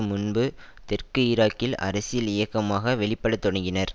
முன்பு தெற்கு ஈராக்கில் அரசியல் இயக்கமாக வெளிப்படத் தொடங்கினர்